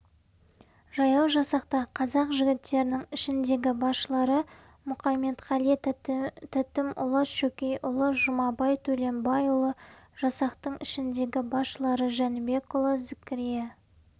жаяу жасақта қазақ жігіттерінің ішіндегі басшылары мұқаметқали тәтімұлы шөкейұлы жұмабай төленбайұлы жасақтың ішіндегі басшылары жәнібекұлы зікірия